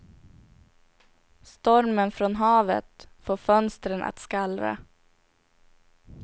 Stormen från havet får fönstren att skallra.